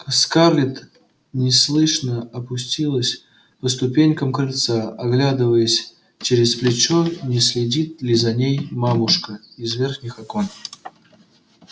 скарлетт неслышно опустилась по ступенькам крыльца оглядываясь через плечо не следит ли за ней мамушка из верхних окон